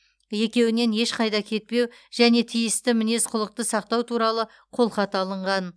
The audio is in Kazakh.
екеуінен ешқайда кетпеу және тиісті мінез құлықты сақтау туралы қолхат алынған